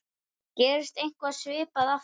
Gerist eitthvað svipað aftur?